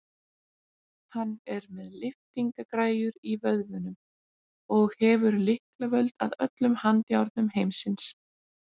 Hann er með lyftingagræjur í vöðvunum og hefur lyklavöld að öllum handjárnum heimsins.